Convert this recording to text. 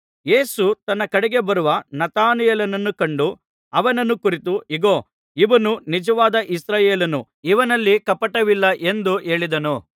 ಯೇಸು ತನ್ನ ಕಡೆಗೆ ಬರುವ ನತಾನಯೇಲನನ್ನು ಕಂಡು ಅವನನ್ನು ಕುರಿತು ಇಗೋ ಇವನು ನಿಜವಾದ ಇಸ್ರಾಯೇಲನು ಇವನಲ್ಲಿ ಕಪಟವಿಲ್ಲ ಎಂದು ಹೇಳಿದನು